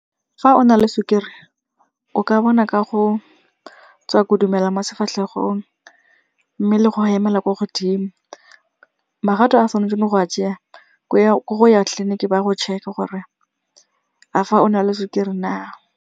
Fa o na le sukiri o ka bona ka go tswa kodumela mo sefatlhegong mme le go hemela kwa godimo. Makgato a tshwanetseng go a tseya ke go ya tleliniking ba go check-e gore a fa o na le sukiri na.